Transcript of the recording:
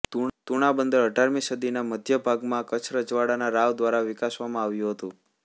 તુણા બંદર અઢારમી સદીના મધ્ય ભાગમાં કચ્છ રજવાડાના રાવ દ્વારા વિકસાવવામાં આવ્યું હતું